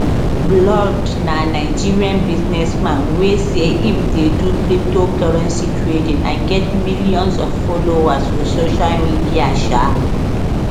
blord na nigerian businessman wey say im dey do cryptocurrency trading and get millions of followers for social media um